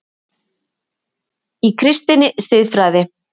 Í KRISTINNI SIÐFRÆÐI